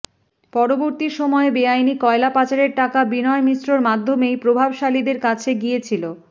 পরবর্তী সময়ে বেআইনি কয়লা পাচারের টাকা বিনয় মিশ্রর মাধ্যমেই প্রভাবশালীদের কাছে গিয়েছিল